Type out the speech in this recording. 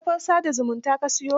A kafar sa da zumunta ka siyo?